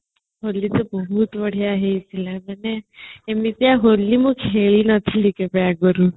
ହୋଲି ତ ବହୁତ ବଢିଆ ହେଇଥିଲା ମାନେ ଏମିତିଆ ହୋଲି ଖେଳିନଥିଲି କେବେ ଆଗରୁ |